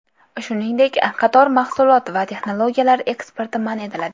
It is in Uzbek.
Shuningdek, qator mahsulot va texnologiyalar eksporti man etiladi.